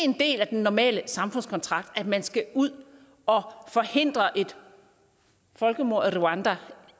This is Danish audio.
en del af den normale samfundskontrakt at man skal ud og forhindre et folkemord i rwanda